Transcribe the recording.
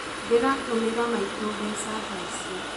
Ndĩratũmira maitũ mbeca thaicĩ